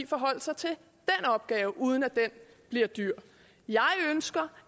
forholde sig til den opgave uden at den bliver dyr jeg ønsker